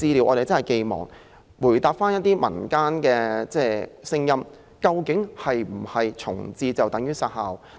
我們期望政府明確告訴大家，究竟是否重置便等於要"殺校"？